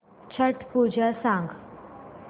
छट पूजा सांग